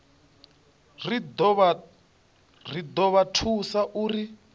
ri do vha thusa uri